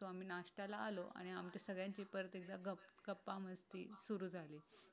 breakfast ला आलो आणि आमची आणखी एकदा गप्पा मस्ती सुरू झाली